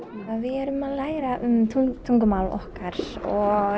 við erum að læra um tungumál okkar og